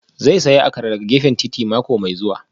Zai sayi Akara daga gefen titi mako mai zuwa